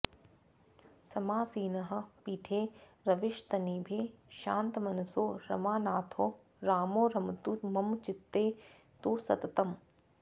समासीनः पीठे रविशतनिभे शान्तमनसो रमानाथो रामो रमतु मम चित्ते तु सततम्